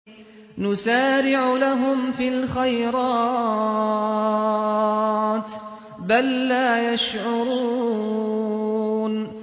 نُسَارِعُ لَهُمْ فِي الْخَيْرَاتِ ۚ بَل لَّا يَشْعُرُونَ